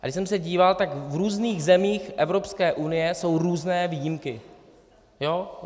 A když jsem se díval, tak v různých zemích Evropské unie jsou různé výjimky.